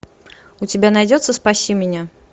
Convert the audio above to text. у тебя найдется спаси меня